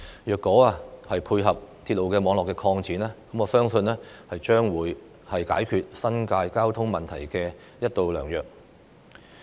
如果這條幹線能夠配合鐵路網絡的擴展，我相信將會是解決新界交通問題的一道良藥。